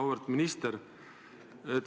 Auväärt minister!